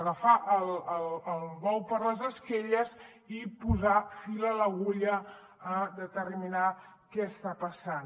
agafar el bou per les banyes i posar fil a l’agulla a determinar què està passant